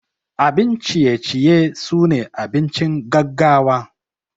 Abun ciye ciye sune abincin gaggawa.